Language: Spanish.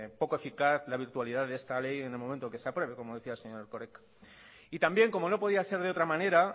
poco eficaz la virtualidad de esa ley en el momento que se apruebe como decía el señor erkoreka y también como no podía ser de otra manera